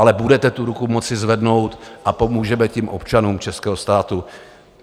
Ale budete tu ruku moct zvednout a pomůžeme tím občanům českého státu.